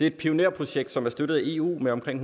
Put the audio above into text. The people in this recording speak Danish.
et pionerprojekt som er støttet af eu med omkring